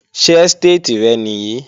Ṣé ẹ́stéètì rẹ nìí?